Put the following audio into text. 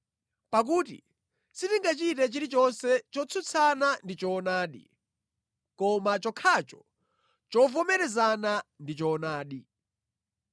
Pakuti sitingachite chilichonse chotsutsana ndi choonadi, koma chokhacho chovomerezana ndi choonadi.